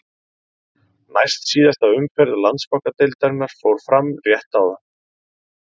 Næst síðasta umferð Landsbankadeildarinnar fór fram rétt áðan.